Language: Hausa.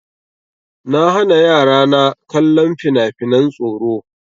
Na hana yara na kallon fina-finan tsoro.